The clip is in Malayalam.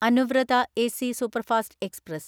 Anuvrat AC superfast express